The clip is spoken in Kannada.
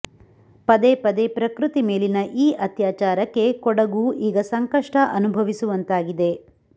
ಪದೇ ಪದೇ ಪ್ರಕೃತಿ ಮೇಲಿನ ಈ ಅತ್ಯಾಚಾರಕ್ಕೆ ಕೊಡಗು ಈಗ ಸಂಕಷ್ಟ ಅನುಭವಿಸುವಂತಾಗಿದೆ